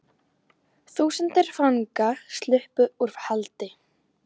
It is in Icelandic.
Þúsundir fanga sluppu úr haldi